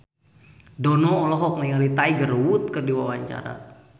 Dono olohok ningali Tiger Wood keur diwawancara